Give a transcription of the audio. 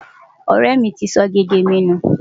Ọ̀rẹ́ mi ti sọ gègé mi nù.